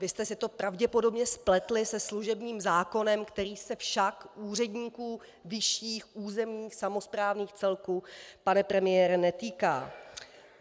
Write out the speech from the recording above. Vy jste si to pravděpodobně spletli se služebním zákonem, který se však úředníků vyšších územních samosprávných celků, pane premiére, netýká.